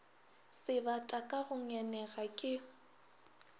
sebata ka go ngenega ke